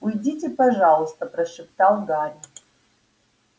уйдите пожалуйста прошептал гарри